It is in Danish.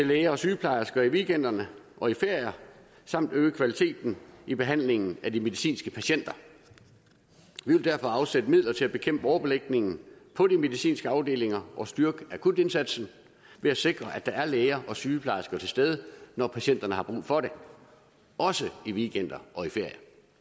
læger og sygeplejersker i weekender og i ferier samt øge kvaliteten i behandlingen af de medicinske patienter vi vil derfor afsætte midler til at bekæmpe overbelægning på de medicinske afdelinger og styrke akutindsatsen ved at sikre at der er læger og sygeplejersker til stede når patienterne har brug for det også i weekender og i ferier